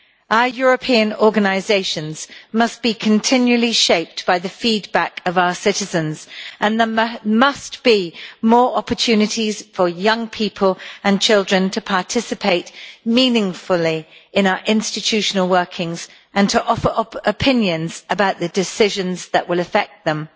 Our European organisations must be continually shaped by the feedback of our citizens, and there must be more opportunities for young people and children to participate meaningfully in our institutional workings and to offer up opinions about the decisions that will affect them.